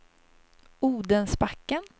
Odensbacken